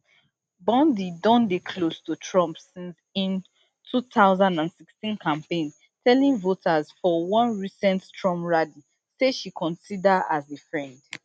bondi don dey close to trump since im two thousand and sixteen campaign telling voters for one recent trump rally say she consider as a friend